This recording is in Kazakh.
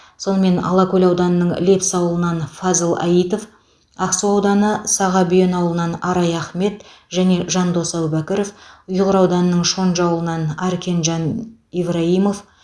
сонымен алакөл ауданының лепсі ауылынан фазыл аитов ақсу ауданы сағабүйен ауылынан арай ахмет және жандос әбубәкіров ұйғыр ауданының шонжы ауылынан аркенжан ивраимов